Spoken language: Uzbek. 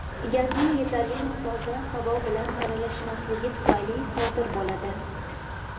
gazning yetarli miqdorda havo bilan aralashmasligi tufayli sodir bo‘ladi.